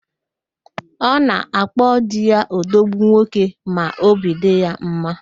Ọ na-akpo di ya "odogwu nwoke" ma óbì dị ya mma